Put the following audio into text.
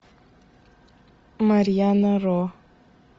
марьяна ро